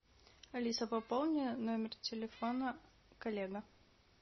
алиса пополи номер телефона коллега